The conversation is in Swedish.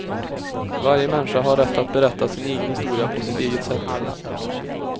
Varje människa har rätt att berätta sin egen historia på sitt eget sätt.